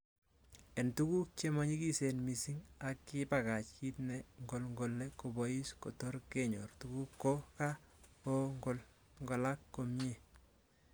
En tuguk chemonyikisen missing, aki kibakach kit ne ngolngole kobois kotorkenyor tuguk ko ka kongolngolak komie.